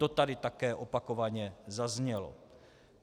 To tady také opakovaně zaznělo.